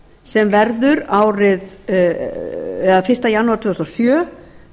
sem verður fyrsta janúar tvö þúsund og sjö